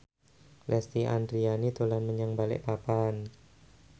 Lesti Andryani dolan menyang Balikpapan